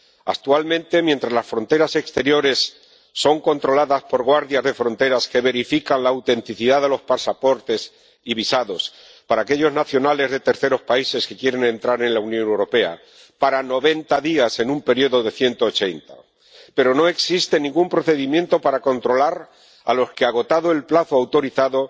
Actualmente, las fronteras exteriores son controladas por guardias de fronteras que verifican la autenticidad de los pasaportes y visados para aquellos nacionales de terceros países que quieren entrar en la Unión Europea para 90 días en un período de 180, pero no existe ningún procedimiento para controlar a los que, agotado el plazo autorizado,